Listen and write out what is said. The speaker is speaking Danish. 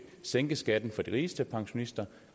sænke skatten for de rigeste pensionister